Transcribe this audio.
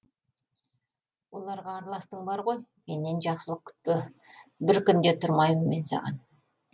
оларға араластың бар ғой менен жақсылық күтпе бір күн де тұрмаймын мен саған